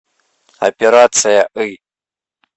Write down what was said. операция ы